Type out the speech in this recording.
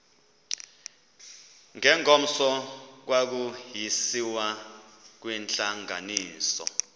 ngengomso kwakusiyiwa kwintlanganiso